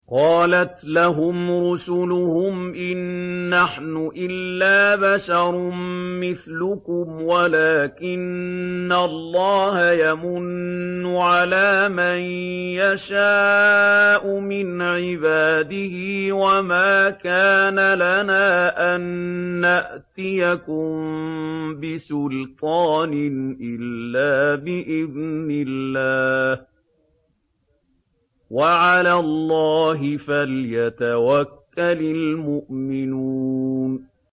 قَالَتْ لَهُمْ رُسُلُهُمْ إِن نَّحْنُ إِلَّا بَشَرٌ مِّثْلُكُمْ وَلَٰكِنَّ اللَّهَ يَمُنُّ عَلَىٰ مَن يَشَاءُ مِنْ عِبَادِهِ ۖ وَمَا كَانَ لَنَا أَن نَّأْتِيَكُم بِسُلْطَانٍ إِلَّا بِإِذْنِ اللَّهِ ۚ وَعَلَى اللَّهِ فَلْيَتَوَكَّلِ الْمُؤْمِنُونَ